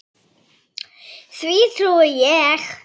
Því trúi ég.